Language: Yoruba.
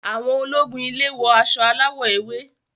Àwọn ológun ile wọ aṣọ aláwò ewé.